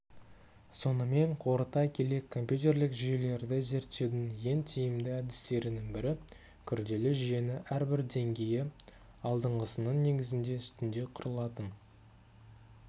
сонымен қорыта келе компьютерлік жүйелерді зертеудің ең тиімді әдістерінің бірі күрделі жүйені әрбір деңгейі алдыңғысының негізінде үстінде құрылатын